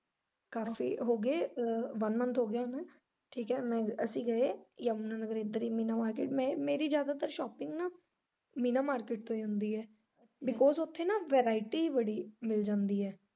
ਘਰ free ਹੋਗੇ one month ਹੋਗਿਆ ਹੁਨਾ ਠੀਕ ਐ ਮੈਂ ਅਸੀਂ ਗਏ ਯਮੁਨਾ ਨਗਰ ਇੱਦਰ ਹੀ ਮੀਨਾ market ਮੇਰੀ ਜਿਆਦਾਤਰ shopping ਨਾ ਮੀਨਾ market ਤੋਂ ਹੀ ਹੁੰਦੀ ਐ because ਉੱਥੇ ਨਾ variety ਹੀ ਬੜੀ ਮਿਲ ਜਾਂਦੀ ਐ।